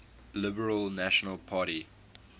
liberal national party